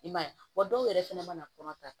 I m'a ye wa dɔw yɛrɛ fɛnɛ mana kɔnɔ ta